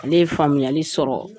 Ale ye faamuyali sɔrɔ